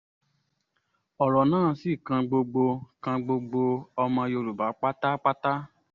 ọ̀rọ̀ náà sì kan gbogbo kan gbogbo ọmọ yorùbá pátápátá